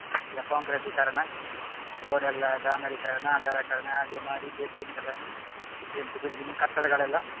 ಎಲ್ಲ ಕಾಂಕ್ರೇಟೀಕರಣ road ಎಲ್ಲಾ ಡಾಂಬರೀಕರಣ, ಅಗಲೀಕರಣ ಹಾಗೆ ಮಾಡಿ building ಎಲ್ಲಾ ಎದ್ದು building ಕಟ್ಟಡಗಳೆಲ್ಲಾ